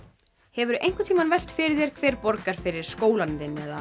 hefurðu einhvern tímann velt því fyrir þér hver borgar fyrir skólann þinn eða